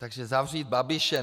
Takže zavřít Babiše.